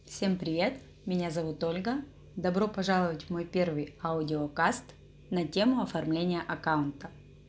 всем привет меня зовут ольга добро пожаловать в мой первый аудио каст на тему оформление аккаунта